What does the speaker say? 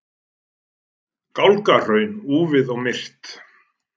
Gálgahraun, úfið og myrkt.